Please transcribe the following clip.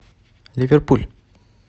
ливерпуль